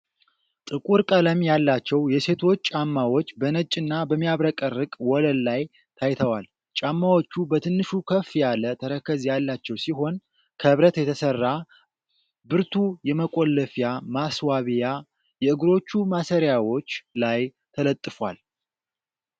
ጥቁር ቀለም ያላቸው የሴቶች ጫማዎች በነጭና በሚያብረቀርቅ ወለል ላይ ታይተዋል። ጫማዎቹ በትንሹ ከፍ ያለ ተረከዝ ያላቸው ሲሆን፤ ከብረት የተሰራ ብርቱ የመቆለፊያ ማስዋቢያ የእግሮቹ ማሰሪያዎች ላይ ተለጥፏል።